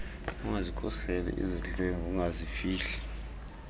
ungazikhuseli izidlwengu ungazifihli